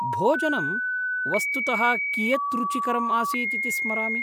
भोजनं वस्तुतः कियत्‌ रुचिकरम्‌ आसीत् इति स्मरामि।